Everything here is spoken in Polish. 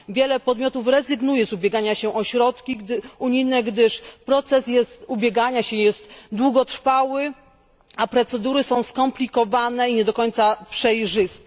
Wiele podmiotów rezygnuje z ubiegania się o środki unijne, gdyż proces ubiegania się jest długotrwały, a procedury są skomplikowane i nie do końca przejrzyste.